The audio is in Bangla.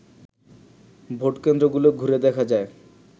ভোট কেন্দ্রগুলো ঘুরে দেখা যায়